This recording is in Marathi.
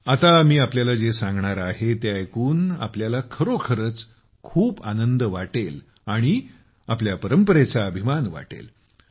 आता मी आपल्याला जे सांगणार आहे ते ऐकून आपल्याला खरोखरच खूप आनंद वाटेल आणि आपल्या परंपरेचा अभिमान वाटेल